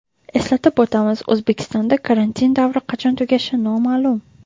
Eslatib o‘tamiz, O‘zbekistonda karantin davri qachon tugashi noma’lum .